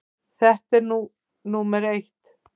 Það er nú númer eitt.